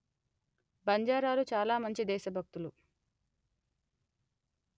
బంజారాలు చాల మంచి దేశ భక్తులు